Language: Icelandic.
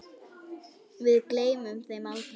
Við gleymum þeim aldrei.